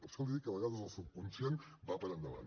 per això li dic que a vegades el subconscient va per endavant